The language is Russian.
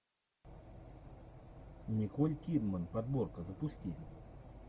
николь кидман подборка запусти